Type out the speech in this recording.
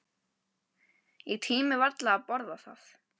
Ég tími varla að borða það.